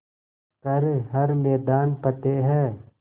कर हर मैदान फ़तेह